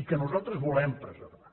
i que nosaltres volem preservar